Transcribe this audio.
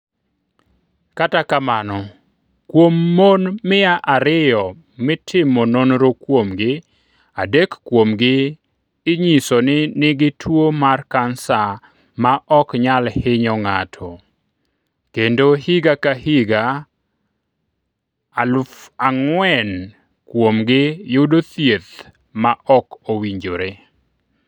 Kata kamano, kuom mon mia ariyo mitimo nonro kuomgi, adek kuomgi inyiso ni nigi tuwo mar kansa maok nyal hinyo ng'ato, kendo higa ka higa 4,000 kuomgi yudo thieth maok owinjore.